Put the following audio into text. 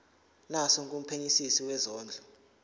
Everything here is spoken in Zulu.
naso kumphenyisisi wezondlo